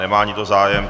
Nemá nikdo zájem.